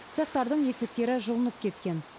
цехтардың есіктері жұлынып кеткен